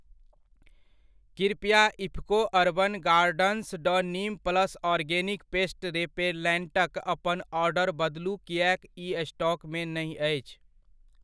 कृपया IFFCO urban gardens Dr neem plus organic pest रेपेलैन्टक अपन ऑर्डर बदलु किएक इ स्टॉक मे नहि अछि।